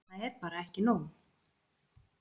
Það er bara ekki nóg!